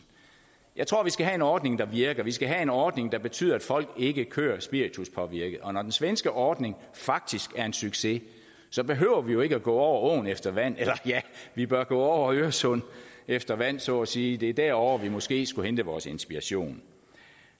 jeg tror at vi skal have en ordning der virker vi skal have en ordning der betyder at folk ikke kører spirituspåvirket og når den svenske ordning faktisk er en succes behøver vi jo ikke at gå over åen efter vand eller ja vi bør gå over øresund efter vand så at sige det er derovre vi måske skulle hente vores inspiration